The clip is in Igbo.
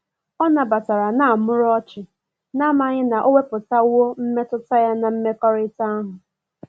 Ọ na batara na muru ochi, na amaghi na o weputawo mmetụta ya na mmekorita ahu.